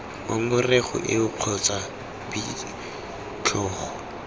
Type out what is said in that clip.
ngongorego eo kgotsa b tlhogo